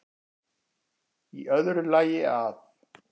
Í öðru lagi að